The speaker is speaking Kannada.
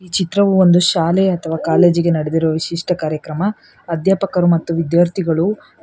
ಚಿತ್ರವು ಒಂದು ಶಾಲೆ ಅಥವಾ ಕಾಲೇಜಿಗೆ ವಿಶಿಷ್ಟ ಕಾರ್ಯಕ್ರಮ ಅಧ್ಯಾಪಕರು ಮತ್ತು ವಿದ್ಯಾರ್ಥಿಗಳು--